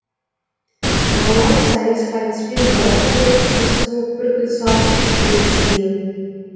балуан сайыс айтыспен бәрі қызып қыз қуып бүркіт салып іліп тиын